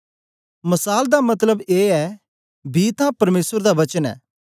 मसाल दा मतलब ए ऐ बी तां परमेसर दा वचन ऐ